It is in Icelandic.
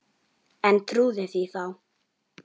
En trúði því þá.